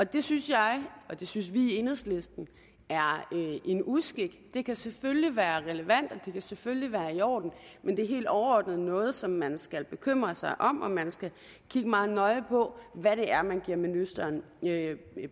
det synes jeg og det synes vi i enhedslisten er en uskik det kan selvfølgelig være relevant og det kan selvfølgelig være i orden men det er helt overordnet noget som man skal bekymre sig om og man skal kigge meget nøje på hvad det er man giver ministeren